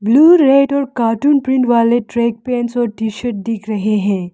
Blue red और cartoon print वाले track pants और टीशर्ट दिख रहे हैं।